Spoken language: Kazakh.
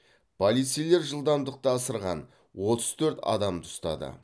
полицейлер жылдамдықты асырған отыз төрт адамды ұстады